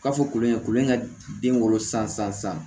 K'a fɔ kolon in ye kolo in ka den wolo san san san